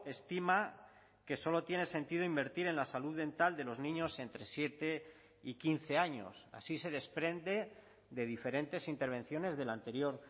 estima que solo tiene sentido invertir en la salud dental de los niños entre siete y quince años así se desprende de diferentes intervenciones de la anterior